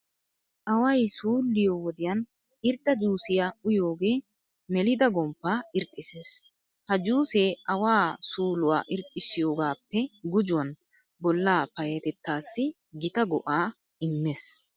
Away suulliyo wodiyan irxxa juusiya uyiyogee melida gomppaa irxxissees. Ha juusee awaa suuluwa irxxissiyogaappe gujuwan bollaa payyatettaassi gita go"aa immees.